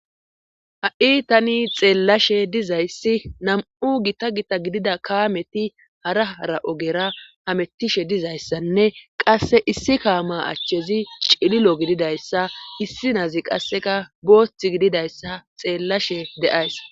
Ha'i tani xeellashe dizayssi nam7u gita gita gidida kaameti haraara ogera hamettishe dizayssanne qasse issi kaama achchezi cililo gididayssa issi naazi qasseka boothth gididayssa xeellashe de7ays